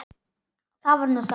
Það var nú það.